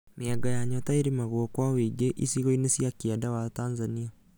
Mĩanga ya nyota ĩrĩmagwo kũa wũingĩ icigo cia kĩenda wa Tanizania